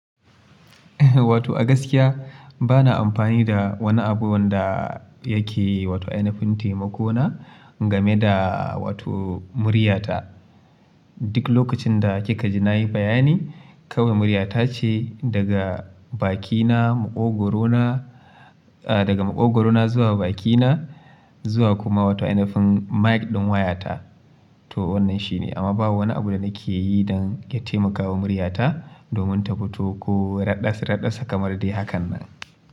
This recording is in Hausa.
Wato a gaskiya bana amfani da wani abu wanda yake wato ainafin taimako na game da wato muryata. Duk lokacin da kika ji na yi bayani kawai muryata ce daga bakina, maƙogorona a daga maƙogorona zuwa bakina zuwa kuma wato ainafin mic ɗin wayata. To wannan shi ne amma ba wani abu da nake yi don ya taimakawa muryata domin ta fito ko raɗas raɗas kamar dai hakan nan.